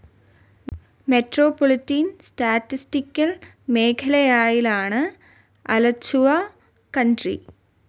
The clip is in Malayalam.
മെട്രോപൊളിറ്റൻ സ്റ്റാറ്റിസ്റ്റിക്കൽ മേഘാലയയിലാണ് അലച്ചുവ കൺട്രി.